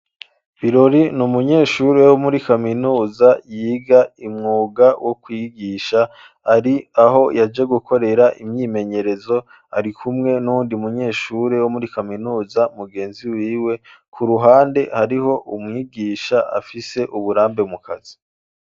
Birori n'umunyeshuri wo muri kaminuza yiga umwuga wo kwigisha , ari aho yaje gukorera imyimenyerezo ari kumwe n'uwundi munyeshuri wo muri kaminuza mugenzi wiwe ku ruhande hariho umwigisha afise uburambe mu kazi